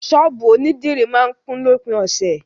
Sọ́ọ̀bù onídìrí máa ń kún lópin ọ̀sẹ̀.